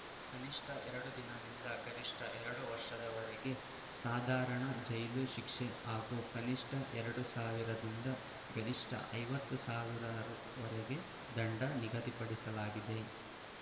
ಕನಿಷ್ಠ ಎರಡು ದಿನದಿಂದ ಗರಿಷ್ಠ ಎರಡು ವರ್ಷದವರೆಗೆ ಸಾಧಾರಣ ಜೈಲು ಶಿಕ್ಷೆ ಹಾಗೂ ಕನಿಷ್ಠ ಎರಡು ಸಾವಿರದಿಂದ ಗರಿಷ್ಠ ಐವತ್ತು ಸಾವಿರ ರುವರೆಗೆ ದಂಡ ನಿಗದಿಪಡಿಸಲಾಗಿದೆ